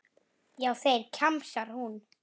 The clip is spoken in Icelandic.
Já, þeir, kjamsar hún.